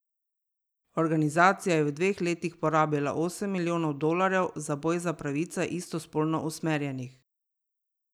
Organizacija je v dveh letih porabila osem milijonov dolarjev za boj za pravice istospolno usmerjenih.